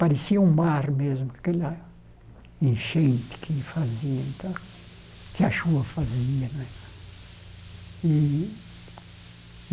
Parecia um mar mesmo, aquela enchente que fazia, que a chuva fazia e.